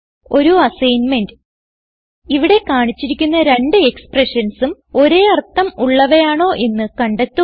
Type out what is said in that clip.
ഒരു അസ്സൈൻമെന്റ് ഇവിടെ കാണിച്ചിരിക്കുന്ന രണ്ട് expressionsഉം ഒരേ അർത്ഥം ഉള്ളവയാണോ എന്ന് കണ്ടെത്തുക